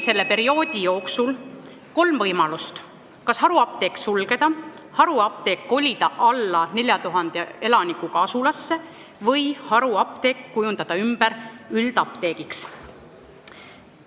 Selle aja jooksul oli kolm võimalust: kas haruapteek sulgeda, kolida haruapteek alla 4000 elanikuga asulasse või kujundada haruapteek ümber üldapteegiks.